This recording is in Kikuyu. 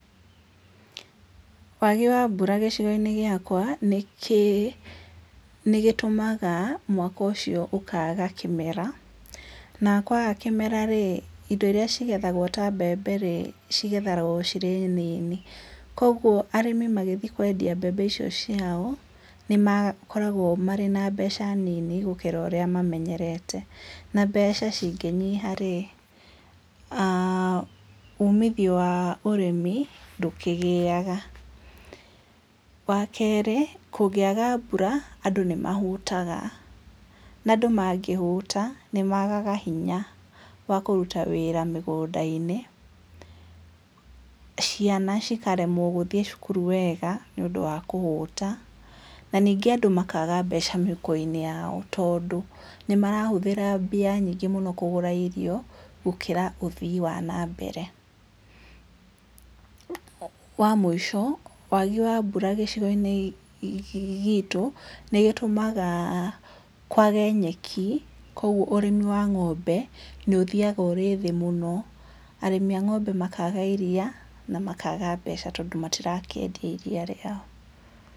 Wagi wa mbura gĩcigo-inĩ gĩakwa, nĩkĩ, nĩgĩtũmaga mwaka ũcio ũkaga camera, na kwaga kĩmera rĩ, indo irĩa cigethagwo ta mbembe rĩ, cigethagwo cirĩ nini, koguo arĩmĩ magĩthiĩ kwendia mbembe icio ciao, nĩmakoragwo marĩ na mbeca nini gũkĩra ũrĩa mamenyerete. Na mbeca cingĩnyiha rĩ, umithio wa ũrĩmi, ndũkĩgĩaga. Wa kerĩ, kũngĩaga mbura, andũ nĩmahũtaga, na andũ mangĩhũta, nĩmagaga hinya wa kũruta wĩra mĩgũnda-inĩ, ciana cikaremwo gũthiĩ cukuru wega, nĩũndũ wa kũhũta, na ningĩ andũ makaga mbeca mĩhuko-inĩ yao, tondũ nĩmarahũthĩra mbia nyingĩ mũno kũgũra irio, gũkĩra ũthii wa nambere. Wa mũico, wagi wa mbura gĩcigo-inĩ gĩtũ, nĩgĩtũmaga kwage nyeki, koguo ũrĩmi wa ng'ombe nĩ ũthiaga ũrĩ thĩ mũno. Arĩmi a ng'ombe makaga iria, na makaga mbeca, tondũ matirakĩendia iria rĩao.